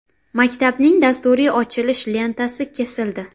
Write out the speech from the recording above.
Maktabning dasturiy ochilish lentasi kesildi.